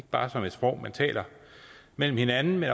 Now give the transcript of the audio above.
bare som et sprog man taler med hinanden men